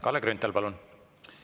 Kalle Grünthal, palun!